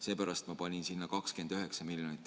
Seepärast ma panin sinna 29 miljonit.